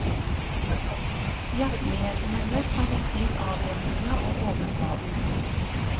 Hjerteligheten hennes kan virke litt avvæpnende og overfladisk.